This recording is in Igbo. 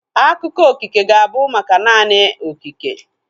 Akụkọ okike ga-abụ maka naanị okike